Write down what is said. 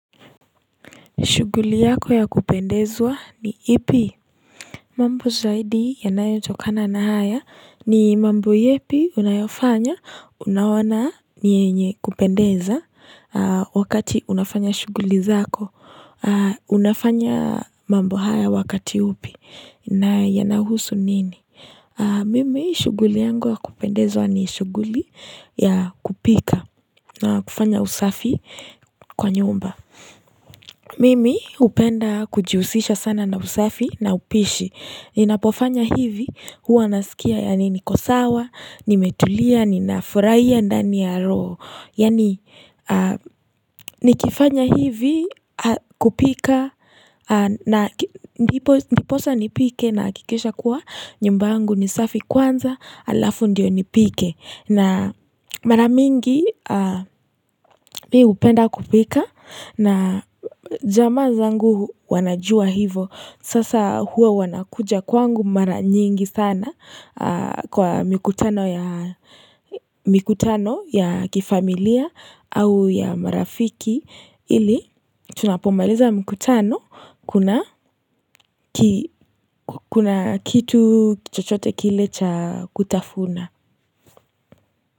Shughuli yako ya kupendezwa ni ipi? Mambo zaidi yanayotokana na haya ni mambo yepi unayofanya, unaona ni nyenye kupendeza wakati unafanya shuguli zako. Unafanya mambo haya wakati upi na yanahusu nini? Mimi shughuli yangu ya kupendezwa ni shughuli ya kupika na kufanya usafi kwa nyumba. Mimi hupenda kujiusisha sana na usafi na upishi. Ninapofanya hivi huwa naskia yani niko sawa, nimetulia, ninafurahia ndani ya roho. Yani nikifanya hivi kupika na ndiposa nipike nahakikisha kuwa nyumba yangu ni safi kwanza alafu ndio nipike. Na mara mingi mi hupenda kupika na jamaa zangu wanajua hivo. Sasa huwa wanakuja kwangu mara nyingi sana kwa mikutano ya kifamilia au ya marafiki. Ili tunapomaliza mkutano kuna kitu chochote kile cha kutafuna.